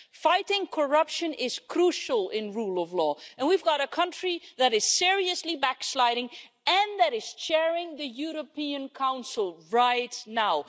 Fighting corruption is crucial in the rule of law, and we've got a country that is seriously backsliding and that is chairing the European Council right now.